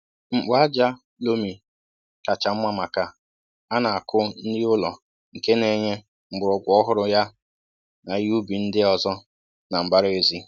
Mkpu ájá lomi kà chá mmá maka a na-aku nri ulo nke n'enye mgbọrọgwụ ọhụrụ ya na ihe ubi ndị ọzọ na mbara ézì